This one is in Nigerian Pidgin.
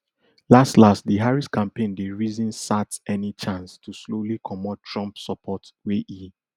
laslas di harris campaign dey reason sat any chance to slowly comot trump support wey e